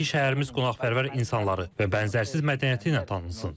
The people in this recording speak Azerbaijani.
İstəyirəm ki, şəhərimiz qonaqpərvər insanları və bənzərsiz mədəniyyəti ilə tanınsın.